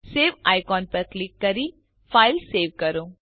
save icon પર click કરી file save કરો